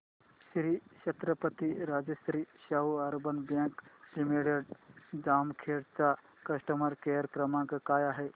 Shri Chhatrapati Rajshri Shahu urban bank limited Jamkhed चा customer care क्रमांक काय आहे